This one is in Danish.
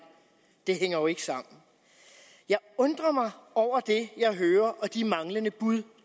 det hænger jo ikke sammen jeg undrer mig over det jeg hører og de manglende bud